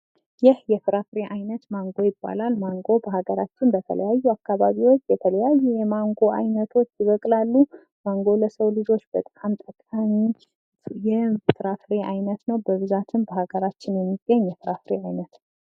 ይህ የፍራፍሬ አይነት ማንጎ ይባላል። ማንጎ በሃገራችን በተለያዩ አካባቢዎች የተለያዩ የማንጎ አይነቶች ይበቅላሉ። ማንጎ ለሰው ልጆች በጣም ጠቃሚ የፍራፍሬ አይነት ነው። በብዛትም በሃገራችን የሚገኝ የፍራፍሬ አይነት ነው።